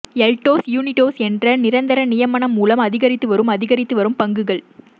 எல்டோஸ் யூனிடோஸ் என்ற நிரந்தர நியமனம் மூலம் அதிகரித்து வரும் அதிகரித்து வரும் பங்குகள்